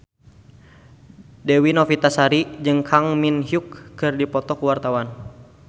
Dewi Novitasari jeung Kang Min Hyuk keur dipoto ku wartawan